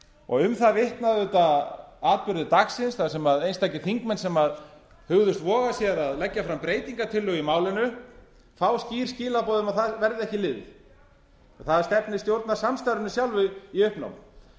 og um það vitna auðvitað atburðir dagsins þar sem einstakir þingmenn sem hugðust voga sér að leggja fram breytingartillögu í málinu fá skýr skilaboð um að það verði ekki liðið og það stefnir stjórnarsamstarfinu sjálfu í uppnám